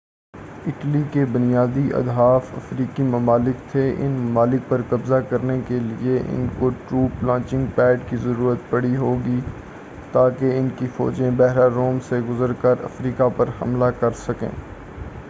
Italy کے بنیادی اہداف افریقی ممالک تھے ان ممالک پر قبضہ کرنے کیلئے ان کو ٹروپ لانچنگ پیڈ کی ضرورت پڑی ہوگی تاکہ ان کی فوجیں بحیرہ روم سے گزر کر افریقہ پر حملہ کر سکیں